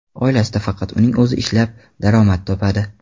Oilasida faqat uning o‘zi ishlab, daromad topadi.